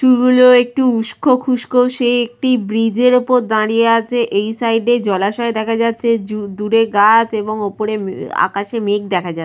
চুল গুলো একটু উস্কো খুস্কো সে একটি ব্রীজের ওপর দাঁড়িয়ে আছে। এই সাইড -এ জলাশয় দেখা যাচ্ছে। জু দূরে গাছ এবং ওপরে আকাশে মেঘ দেখা যাচ্--